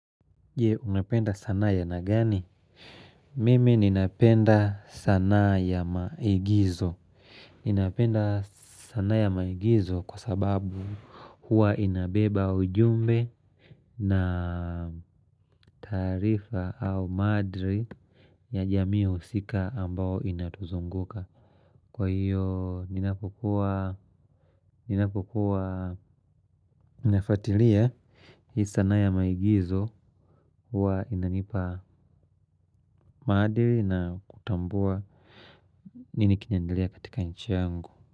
Je, unapenda sanaa ya aina gani? Mimi, ninapenda sanaa ya maigizo. Ninapenda sanaa ya maigizo kwa sababu huwa inabeba ujumbe na taarifa au madri ya jamii usika ambao inatuzunguka. Kwa hiyo, ninapokuwa, ninapokuwa, ninafuatilia, hii sanaa ya maigizo huwa inanipa maadili na kutambua nini kinaendelea katika nchi yangu.